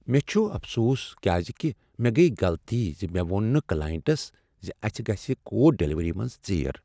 مےٚ چھ افسوس کیٛاز کہ مےٚ گٔیہ غلطی ز مےٚ ووٚن نہٕ کلاینٹس زِ اسہ گژھِ کوڈ ڈلیوری منٛز ژیر۔